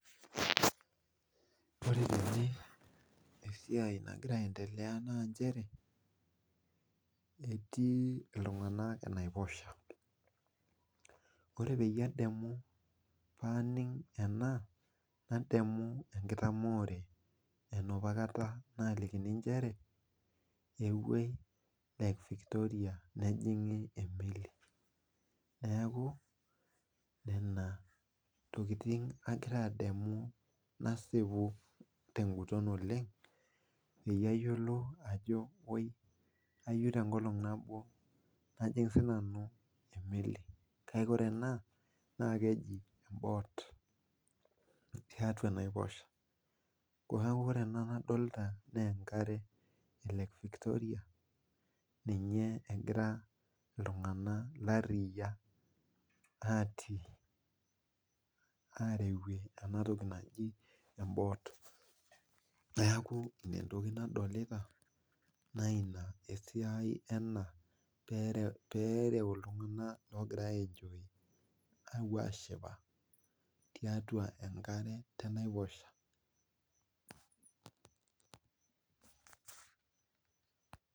Ore esiai nagira aendelea tene naa nchere ,etii iltunganak enaiposha ,ore pee adol ena nadamu enkitamoore enapakata alikini nchere ,epuo lake Victoria nejingi emeli neeku, nena tokiting agira adamu nasipu tenguton oleng peyie ayiolou ajo woi ayieu tenkolong nabo najing sii nanu emeli, kake ore ena naa keji emboot tiatua enaiposha, neeku ore ena nadolita naa enkare e lake Victoria ninye egira iltunganak lariak atii areyie ena toki naji emboot. neeku ina entoki nadolita naa ina esiai ena pee ereu iltunganak oogiara aenjoy ashipa tiatua enkare enaiposha.